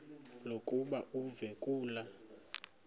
lokuba uve kulaa